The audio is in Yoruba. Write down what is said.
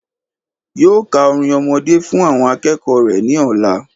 Yóò ka orin ọmọdé fún àwọn akéèkòó rè ní òla